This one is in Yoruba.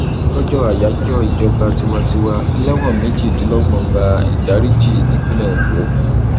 lọjọ ayájọ ìjọba tiwantiwa ẹlẹwọn méjìdínlọgbọn gba ìdáríjì nípìnlẹ ondo